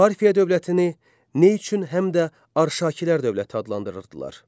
Parfiya dövlətini nə üçün həm də Arşakilər dövləti adlandırırdılar?